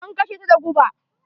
An kashe ta da guba.